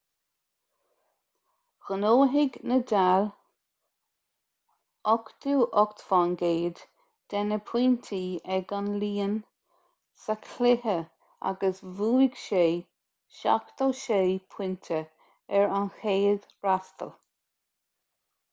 ghnóthaigh ​​nadal 88% de na pointí ag an líon sa chluiche agus bhuaigh sé 76 pointe ar a chéad fhreastal